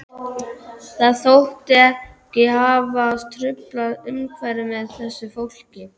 Það þótti ekki hæfa að trufla umhverfið með þessu fólki.